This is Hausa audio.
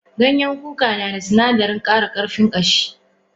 Ganyen kuka nada sunadarin kara karfin kashi.